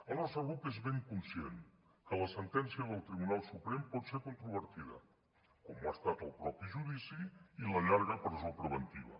el nostre grup és ben conscient que la sentència del tribunal suprem pot ser controvertida com ho ha estat el mateix judici i la llarga presó preventiva